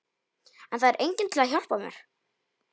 En það er enginn til að hjálpa mér.